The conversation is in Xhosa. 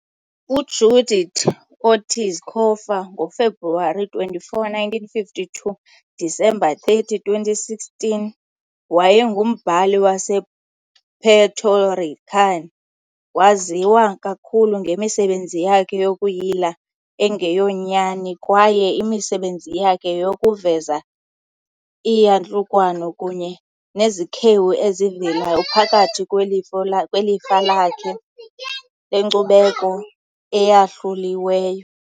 UJudith Ortiz Cofer, ngoFebruwari 24, 1952 - Disemba 30, 2016, wayengumbhali wasePuerto Rican. Waziwa kakhulu ngemisebenzi yakhe yokuyila engeyonyani kwaye imisebenzi yakhe yeyokuveza iiyantlukwano kunye nezikhewu ezivelayo phakathi kwelifa lakhe lenkcubeko eyahluliweyo.